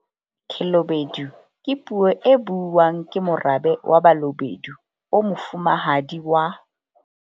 Khelobedu ke puo e buuwang ke morabe wa Balobedu o mofumahadi wa.